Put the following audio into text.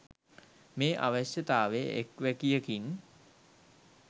මේ අවශ්‍යතාව එක් වැකියකින්